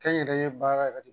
Kɛ n yɛrɛ ye baara yɛrɛ de